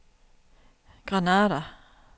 Granada